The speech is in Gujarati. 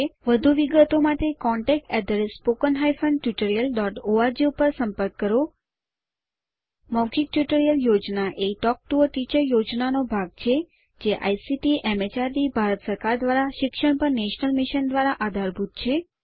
વધુ વિગતો માટે contactspoken tutorialorg ઉપર સંપર્ક કરો મૌખિક ટ્યુટોરીયલ યોજના એ ટોક ટુ અ ટીચર યોજનાનો ભાગ છે જે આઇસીટીએમએચઆરડીભારત સરકાર દ્વારા શિક્ષણ પર નેશનલ મિશન દ્વારા આધારભૂત છે